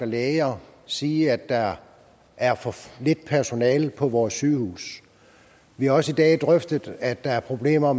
læger sige at der er for lidt personale på vores sygehuse vi har også i dag drøftet at der er problemer